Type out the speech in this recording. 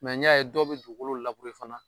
N y'a ye dɔw bi dugukolo fana